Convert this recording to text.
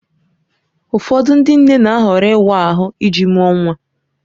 Ụfọdụ ndị nne na-ahọrọ ịwa ahụ iji mụọ nwa